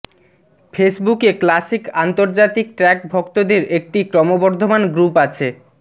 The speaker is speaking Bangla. ফেসবুকে ক্লাসিক আন্তর্জাতিক ট্র্যাক ভক্তদের একটি ক্রমবর্ধমান গ্রুপ আছে